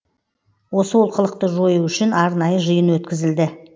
осы олқылықты жою үшін арнайы жиын өткізілді